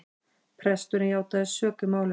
Presturinn játaði sök í málinu